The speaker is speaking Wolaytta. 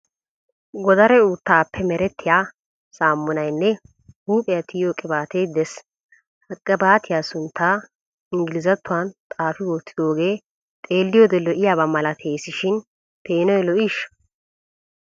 Godare uuttaappe merettiya saamunayinne huuphiya tiyyiyo qibaate des. Ha qibaatiya sunttaa engilzattuwan xaafi wottidoogee xeelliyoode lo'iyaaba malatees shin peenoy lo'iishsha?